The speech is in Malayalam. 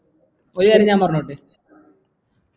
ഒരു കരയാൻ ഞാൻ പറഞ്ഞോട്ടെ